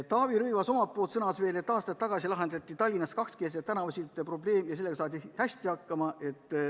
Taavi Rõivas sõnas veel, et aastaid tagasi lahendati Tallinnas kakskeelsete tänavasiltide probleem ja sellega saadi hästi hakkama.